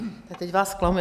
Teď vás zklamu.